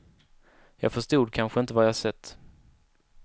Jag förstod kanske inte vad jag sett.